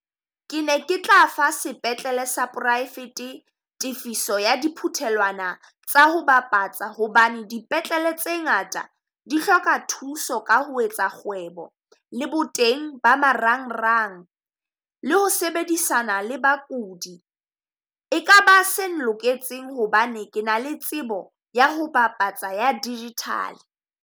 Ke ne ke tla fa sepetlele sa poraefete tefiso ya di phuthelwana tsa ho bapatsa. Hobane dipetlele tse ngata di hloka thuso ka ho etsa kgwebo, le bo teng ba marangrang, le ho sebedisana le bakudi. E ka ba se nloketseng hobane ke na le tsebo ya ho bapatsa ya digital.